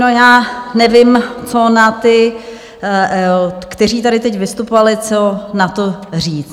No já nevím, co na ty, kteří tady teď vystupovali, co na to říct.